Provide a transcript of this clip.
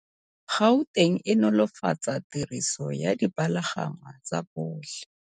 Gauteng e nolofatsa tiriso ya dipalangwa tsa botlhe.